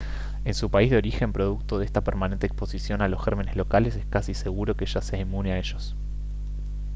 en su país de origen producto de esta permanente exposición a los gérmenes locales es casi seguro que ya sea inmune a ellos